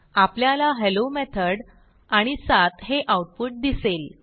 आपल्याला hello method आणि 7 हे आऊटपुट दिसेल